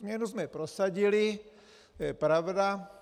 Změnu jsme prosadili, to je pravda.